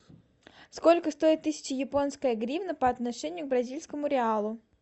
сколько стоит тысяча японская гривна по отношению к бразильскому реалу